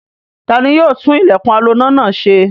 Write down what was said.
Ta ni yóò tún ilẹ̀kùn aloná náà ṣe?